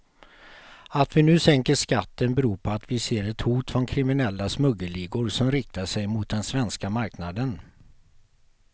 Att vi nu sänker skatten beror på att vi ser ett hot från kriminella smuggelligor som riktar sig mot den svenska marknaden.